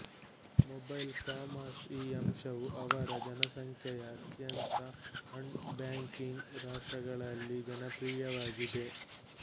mobile commerce ಈ ಅಂಶವು ಅವರ ಜನಸಂಖ್ಯೆಯ ಅತ್ಯಂತ ಅಣ್ ಬ್ಯಾಂಕಿಂಗ್ ರಾಷ್ಟ್ರಗಳಲ್ಲಿನ ಜನಪ್ರಿಯವಾಗಿದೆ